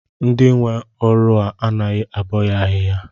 Ndị nwe ọrụ a anaghị abọ ya ahịhịa?